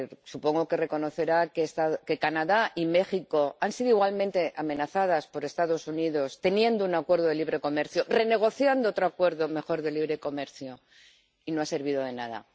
Supongo que reconocerá que Canadá y México han sido países igualmente amenazados por los Estados Unidos aun teniendo un acuerdo de libre comercio y renegociando otro acuerdo mejor de libre comercio, lo que no ha servido de nada.